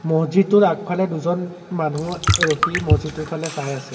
মছজিদটোৰ আগফালে দুজন মানুহ ৰখি মছজিদটোৰ ফালে চাই আছে।